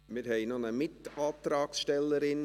Wir haben noch eine Mit-Antragstellerin.